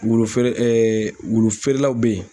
Wulu feere wulu feerelaw bɛ ye.